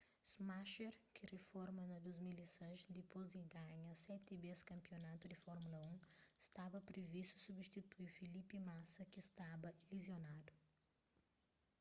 schumacher ki riforma na 2006 dipôs di ganha seti bês kanpionatu di fórmula 1 staba privistu substitui felipe massa ki staba lizionadu